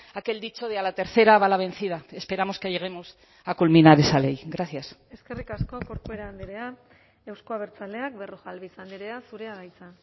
aquel dicho de a la tercera va la vencida esperamos que lleguemos a culminar esa ley gracias eskerrik asko corcuera andrea euzko abertzaleak berrojalbiz andrea zurea da hitza